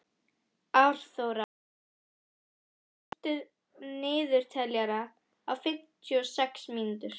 Árþóra, stilltu niðurteljara á fimmtíu og sex mínútur.